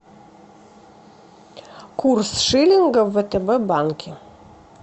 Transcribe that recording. курс шиллинга в втб банке